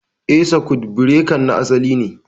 Eh, sakut birekan na asalin ne